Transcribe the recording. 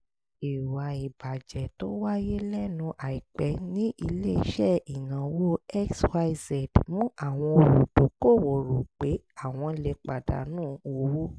ìwà ìbàjẹ́ tó wáyé lẹ́nu àìpẹ́ ní ilé-iṣẹ́ ìnáwó xyz mú àwọn olùdókòwò rò pé àwọn lè pàdánù owó